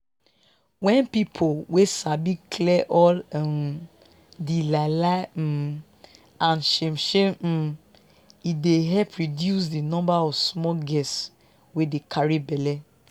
wen people wey sabi clear all um di lie lie um and shame shame um e dey help reduce di number of small girls wey dey carry bellen